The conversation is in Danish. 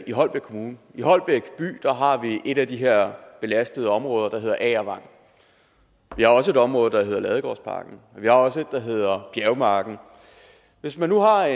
i holbæk kommune i holbæk by har vi et af de her belastede områder der hedder agervang vi har også et område der hedder ladegårdsparken og vi har også et der hedder bjergmarken hvis man nu har